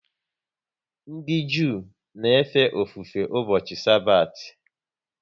Ndị Jew na efe ofufe ụbọchị Sabathi